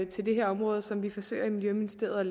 til det her område som vi forsøger i miljøministeriet